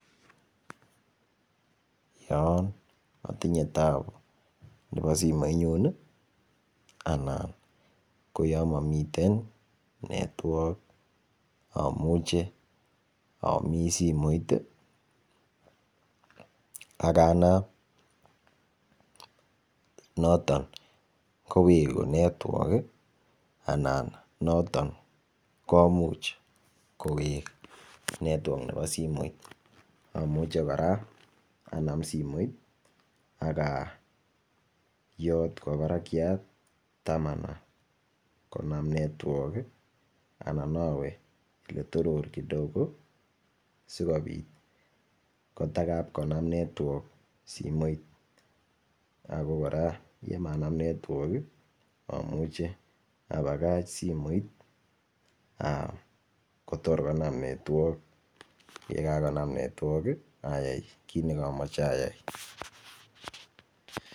Yon atinye taabu nepo simoit nyu ana ko yo mamiten network amuche amis simoit akanam noton kowekun network anan noton komuuch kowek network nebo simoit amuche kora anam simoit akayot kwo parakyat ndamana konam network anan awe yetoror kidogo sikopit kotakap konam network simoit ko kora yemanam network amuche apakaach simoit kotor konam network yekakonam network ayay kiit nekamache ayay.